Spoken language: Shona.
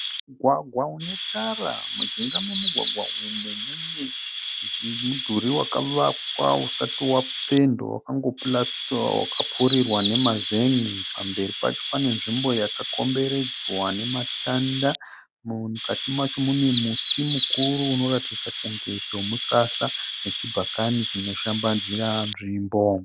Mugwagwa unetara, mujinga memugwagwa umu mune mudhuri wakavakwa usati wapendiwa wakango purasitiwa wakapfirirwa nemazenge pamberi pacho pane nzvimbo yakakomberedzwa nematanda mukati macho mune muti mukuru unoratidza kunge semusasa nechibhakani chinoshambadzira nzvimbo.